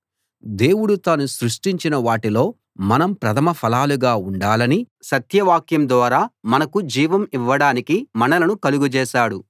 దేవుడు తాను సృష్టించిన వాటిలో మనం ప్రథమ ఫలాలుగా ఉండాలని సత్యవాక్యం ద్వారా మనకు జీవం ఇవ్వడానికి మనలను కలగజేశాడు